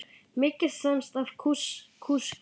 Mikið fannst af kúskel.